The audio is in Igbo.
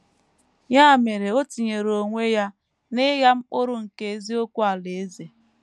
Ya mere o tinyere onwe ya n’ịgha mkpụrụ nke eziokwu Alaeze.